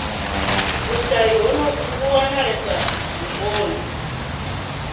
vhushayi honovhu vhu wanalesa vhuponi